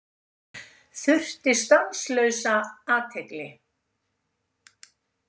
Þurfti stanslausa athygli.